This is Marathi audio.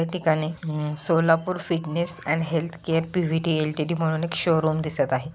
या ठिकाणी Solapur fitness and health care P V T L T D म्हणून एक शोरूम दिसत आहेत.